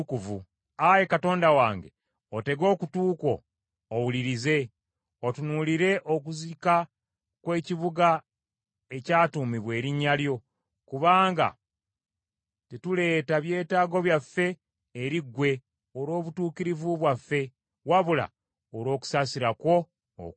Ayi Katonda wange, otege okutu kwo owulirize, otunuulire okuzika kw’ekibuga ekyatuumibwa erinnya lyo, kubanga tetuleeta byetaago byaffe eri ggwe olw’obutuukirivu bwaffe, wabula olw’okusaasira kwo okungi.